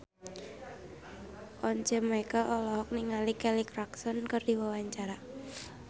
Once Mekel olohok ningali Kelly Clarkson keur diwawancara